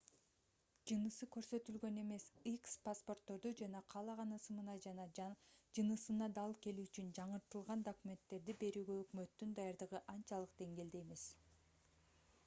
жынысы көрсөтүлгөн эмес х паспортторду жана каалаган ысымына жана жынысына дал келүү үчүн жаңыртылган документтерди берүүгө өкмөттүн даярдыгы анчалык деңгээлде эмес